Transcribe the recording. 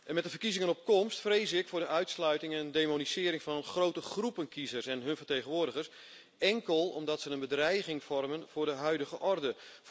Met de verkiezingen op komst vrees ik voor de uitsluiting en demonisering van grote groepen kiezers en hun vertegenwoordigers, enkel omdat ze een bedreiging vormen voor de huidige orde.